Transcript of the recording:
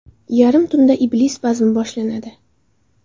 Yarim tunda Iblis bazmi boshlanadi.